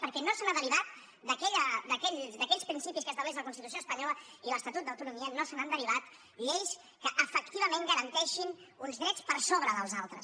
perquè no se n’han de·rivat d’aquells principis que estableixen la constitució espanyola i l’estatut d’autonomia no se n’han derivat lleis que efectivament garanteixin uns drets per sobre dels altres